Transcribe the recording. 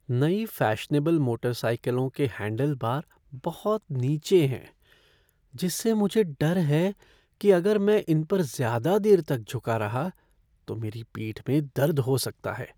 नई फ़ैशनेबल मोटरसाइकिलों के हैंडलबार बहुत नीचे हैं जिससे मुझे डर है कि अगर मैं इम पर ज़्यादा देर तक झुका रहा तो मेरी पीठ में दर्द हो सकता है।